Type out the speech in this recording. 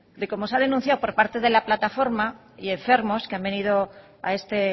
de como se ha denunciado por parte de la plataforma y enfermos que han venido a este